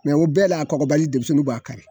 Mɛ o bɛɛ la, a kɔfɔbali denmisɛnninw b'a kari.